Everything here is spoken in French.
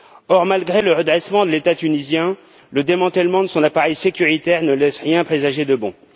Or, malgré le redressement de l'État tunisien, le démantèlement de son appareil sécuritaire ne laisse rien présager de bon.